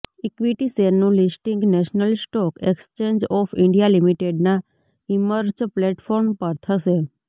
equity શેરનું listing national stock exchange of India લિમિટેડનાં emerge platform પર થશે